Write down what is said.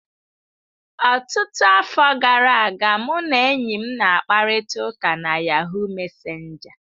Ọtụtụ afọ gara aga, ụ na enyi m na-akparịta ụka na Yahuu mesenja.